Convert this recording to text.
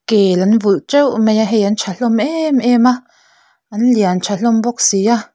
kel an vulh teuh mai a hei an tha hlawm em em a an lian tha hlawm bawk si a.